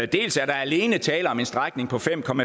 dels er der alene tale om en strækning på fem km